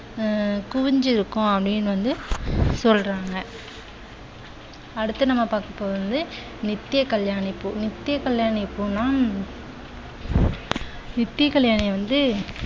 ஹம் குவிந்திருக்கும் அப்படின்னு வந்து சொல்றாங்க. அடுத்து நம்ம பாக்க போறது நித்யகல்யாணி பூ. நித்யகல்யாணி பூன்னா நித்யகல்யாணி வந்து